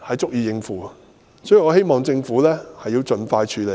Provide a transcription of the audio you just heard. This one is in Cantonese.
所以，我希望政府盡快處理。